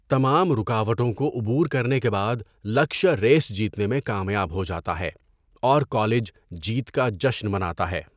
تمام رکاوٹوں کو عبور کرنے کے بعد لکشیا ریس جیتنے میں کامیاب ہو جاتا ہے، اور کالج جیت کا جشن مناتا ہے۔